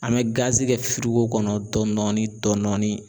An bɛ kɛ firigo kɔnɔ dɔɔni dɔɔni dɔɔni dɔɔni.